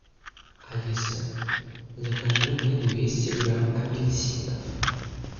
алиса закажи мне двести грамм апельсинов